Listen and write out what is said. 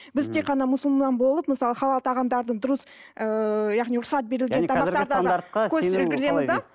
біз тек қана мұсылман болып мысалы халал тағамдардың дұрыс ыыы яғни рұқсат берілген